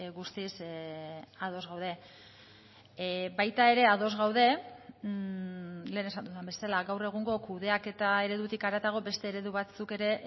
guztiz ados gaude baita ere ados gaude lehen esan dudan bezala gaur egungo kudeaketa eredutik haratago beste eredu batzuk ere